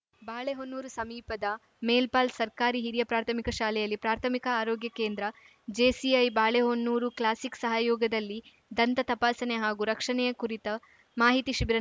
ಬಾಳೆಹೊನ್ನೂರು ಸಮೀಪದ ಮೇಲ್ಪಾಲ್‌ ಸರ್ಕಾರಿ ಹಿರಿಯ ಪ್ರಾಥಮಿಕ ಶಾಲೆಯಲ್ಲಿ ಪ್ರಾಥಮಿಕ ಆರೋಗ್ಯ ಕೇಂದ್ರ ಜೇಸಿಐ ಬಾಳೆಹೊನ್ನೂರು ಕ್ಲಾಸಿಕ್‌ ಸಹಯೋಗದಲ್ಲಿ ದಂತ ತಪಾಸಣೆ ಹಾಗೂ ರಕ್ಷಣೆಯ ಕುರಿತ ಮಾಹಿತಿ ಶಿಬಿರ